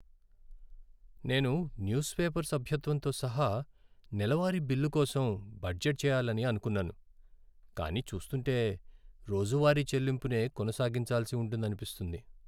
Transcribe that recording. నేను newspaper సభ్యత్వంతో సహా నెలవారీ బిల్లు కోసం బడ్జెట్ చేయాలని అనుకున్నాను, కానీ చూస్తుంటే రోజువారీ చెల్లింపునే కొనసాగించాల్సి ఉంటుందనిపిస్తుంది.